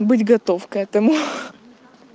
будь готов к этому